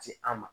Ci an ma